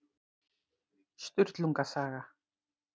Sturlunga saga.